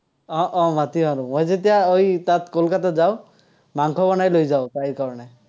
উম উম মাতিম আৰু। মই যেতিয়া ঐ তাত কলকাতাত যাঁও, মাংস বনাই লৈ যাঁও, তাইৰ কাৰণে।